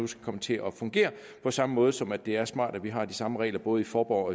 skal komme til at fungere på samme måde som det er smart at vi har de samme regler både i fåborg